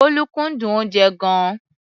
Bólú kúndùn oúnjẹ gan-an.